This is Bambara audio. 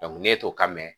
ne t'o ka mɛn